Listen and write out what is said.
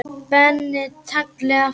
Spenni taglið aftur.